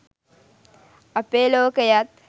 අපේ ලෝකයත්